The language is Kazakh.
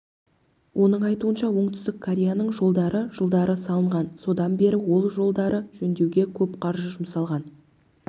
оның айтуынша оңтүстік кореяның жолдары жылдары салынған содан бері ол жолдарды жөндеуге көп қаржы жұмсалған